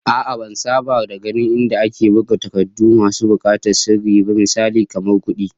A'a, ban saba da ganin inda ake buga takardu masu bukatar sirri ba, misali kamar kudi